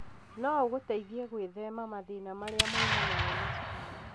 no ũgũteithie gwĩthema mathĩna marĩa moimanaga na cukari.